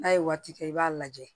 N'a ye waati kɛ i b'a lajɛ